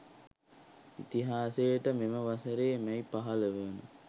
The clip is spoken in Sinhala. ඉතිහාසයට මෙම වසරේ මැයි 15 වන